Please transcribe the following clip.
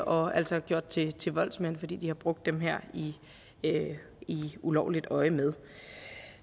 og altså gjort til til voldsmænd fordi de har brugt dem i i ulovligt øjemed